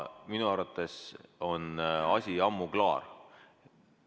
Minu arvates on asi ammu klaar.